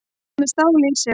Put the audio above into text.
Hann er með stál í sér.